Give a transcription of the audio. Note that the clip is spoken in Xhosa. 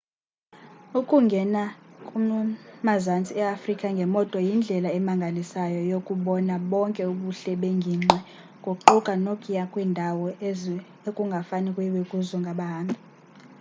ukungena kumazantsi eafrika ngemoto yindlela emangalisayo yokubona bonke ubuhle bengingqi kuquka nokuya kwiindawo ekungafane kuyiwe kuzo ngabahambi